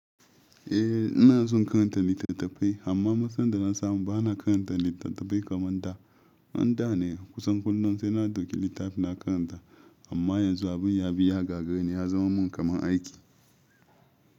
Eh ina son karanta littattafai, amma matsalan da na samu bana karanta littattafai kaman da an da ne. Kusan kullum sai na ɗauki littafi na karanta amma yanzu abin ya bi ya gagareni ya zama mun kaman aiki.